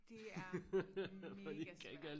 Det er mega svært